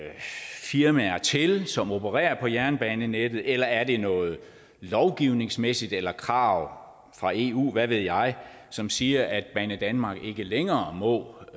firmaer til som opererer på jernbanenettet eller er det noget lovgivningsmæssigt eller krav fra eu eller hvad ved jeg som siger at banedanmark ikke længere må